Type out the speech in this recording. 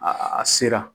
A a sera